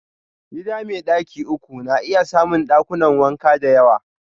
Gida mai daki uku na iya samun dakunan wanka da yawa.